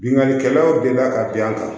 Binnkannikɛlaw delila ka bɛɛ ta